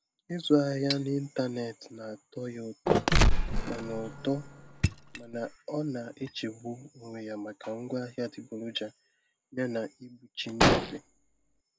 Ịzụ ahịa n'ịntanetị na-atọ ya ụtọ mana ụtọ mana ọ na-echegbu onwe ya maka ngwaahịa adịgboroja yana ịgbụchi nnyefe.